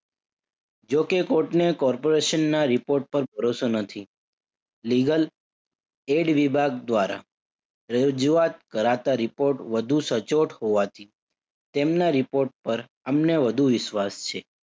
જો કે કોર્ટને corporation ના report પર ભરોસો નથી. Legal ad વિભાગ દ્વારા રજુઆત કરાતા report વધુ સચોટ હોવાથી તેમના report પર અમને વધુ વિશ્વાસ છે.